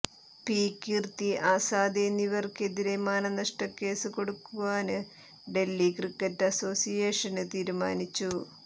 P Kirti Azad എന്നിവര്ക്കെതിരെ മാനനഷ്ടക്കേസ് കൊടുക്കുവാന് ഡല്ഹി ക്രിക്കറ്റ് അസോസിയേഷന് തീരുമാനിച്ചു